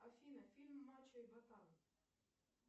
афина фильм мачо и батан